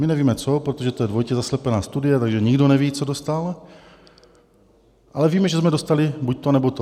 My nevíme co, protože to je dvojitě zaslepená studie, takže nikdo neví, co dostal, ale víme, že jsme dostali buď to, nebo to.